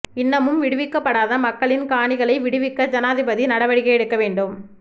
இன்னமும் விடுவிக்கப்படாத மக்களின் காணிகளை விடுவிக்க ஜனாதிபதி நடவடிக்கை எடுக்க வேண்டும்